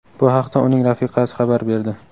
Bu haqda uning rafiqasi xabar berdi.